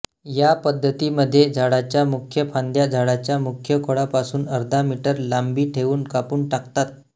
या पद्धतीमध्ये झाडाच्या मुख्य फांद्या झाडाच्या मुख्य खोडापासुन अर्धा मीटर लांबी ठेऊन कापून टाकतात